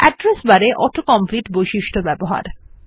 address বারে auto complete বৈশিষ্ট্য ব্যবহার করা